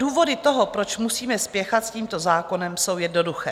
Důvody toho, proč musíme spěchat s tímto zákonem, jsou jednoduché.